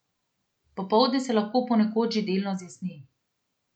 Popoldne se lahko ponekod že delno zjasni.